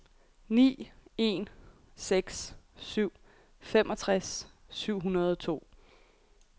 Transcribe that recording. ni en seks syv femogtres syv hundrede og to